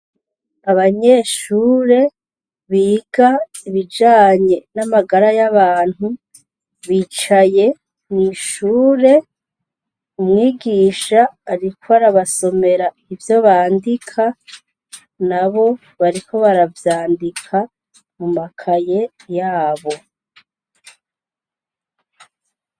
Abanyeshure biga ibijanye n' amagara y' abantu , bicaye mw' ishure ,umwigisha ariko arabasomera ivyo bandika, nabo bariko baravyandika mu makaye yabo.